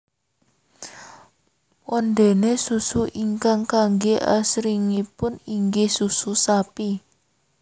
Wondéné susu ingkang kanggé asringipun inggih susu sapi